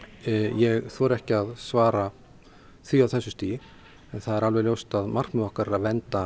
ég þori ekki að svara því á þessu stigi en það er alveg ljóst að markmið okkar er að vernda